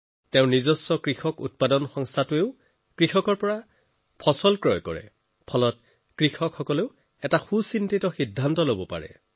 নিজে তেওঁলোকৰ এফপিঅতো কৃষকৰ পৰা ফচল কিনে সেয়ে তেওঁৰ এই প্ৰচাৰৰ ফলত কৃষকসকলৰ সিদ্ধান্ত লোৱাত সহায় হয়